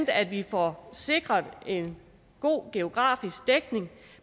at vi får sikret en god geografisk dækning